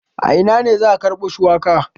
A ina ne za a karbo shuwakan?